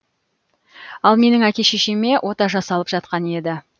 ал менің әке шешеме ота жасалып жатқан еді